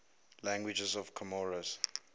languages of comoros